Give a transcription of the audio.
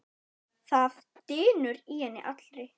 Það drynur í henni allri.